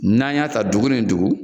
N'an y'a ta dugu nin dugu,